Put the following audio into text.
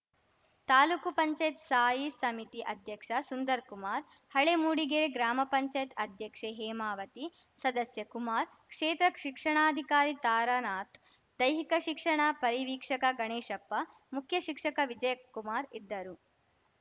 ತಾಲೂಕು ಪಂಚಾಯತ್ ಸ್ಥಾಯಿ ಸಮಿತಿ ಅಧ್ಯಕ್ಷ ಸುಂದರ್‌ ಕುಮಾರ್‌ ಹಳೆ ಮೂಡಿಗೆರೆ ಗ್ರಾಮ ಪಂಚಾಯತ್ ಅಧ್ಯಕ್ಷೆ ಹೇಮಾವತಿ ಸದಸ್ಯ ಕುಮಾರ್‌ ಕ್ಷೇತ್ರ ಶಿಕ್ಷಣಾಧಿಕಾರಿ ತಾರಾನಾಥ್‌ ದೈಹಿಕ ಶಿಕ್ಷಣ ಪರಿವೀಕ್ಷಕ ಗಣೇಶಪ್ಪ ಮುಖ್ಯ ಶಿಕ್ಷಕ ವಿಜಯ ಕುಮಾರ್‌ ಇದ್ದರು